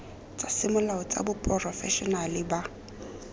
tsa semolao tsa baporofešenale ba